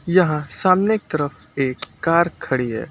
यहां सामने की तरफ एक कार खड़ी है।